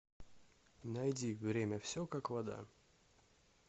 найди время все как вода